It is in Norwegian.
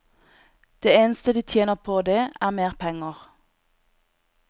Det eneste de tjener på det, er mer penger.